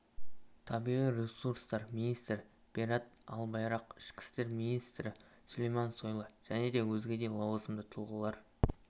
табиғи ресурстар министрі берат албайрақ ішкі істер министрі сүлеймен сойлы және өзге де лауазымды тұлғалар